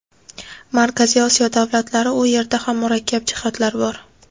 Markaziy Osiyo davlatlari – u yerda ham murakkab jihatlar bor.